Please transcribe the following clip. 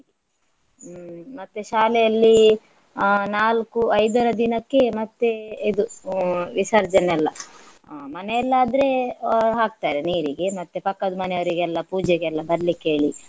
ಹ್ಮ್ ಮತ್ತೆ ಶಾಲೆಯಲ್ಲಿ ಅಹ್ ನಾಲ್ಕು ಐದರ ದಿನಕ್ಕೆ ಮತ್ತೆ ಇದು ಹ್ಮ್ ವಿಸರ್ಜನೆ ಎಲ್ಲ. ಮನೆಯಲ್ಲಾದ್ರೆ ಹಾಕ್ತಾರೆ ನೀರಿಗೆ ಮತ್ತೆ ಪಕ್ಕದ್ ಮನೆಯವರಿಗೆಲ್ಲಾ ಪೂಜೆಗೆಲ್ಲ ಬರಲಿಕ್ಕೆ ಹೇಳಿ.